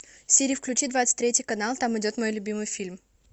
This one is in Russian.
сири включи двадцать третий канал там идет мой любимый фильм